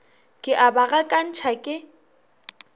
ke a ba gakantšha ke